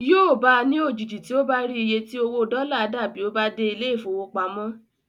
Yóò bá a ní òjijì tí ó bá rí iye tí owó dọ́là dà bí ó bá dé ilé ìfowópamọ́.